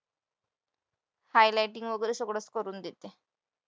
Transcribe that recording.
highlighting वगैरे सगळंच करून देते.